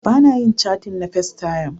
Bana yin catin na festayam